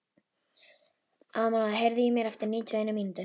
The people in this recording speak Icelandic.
Amal, heyrðu í mér eftir níutíu og eina mínútur.